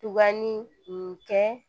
Tuba ni mun kɛ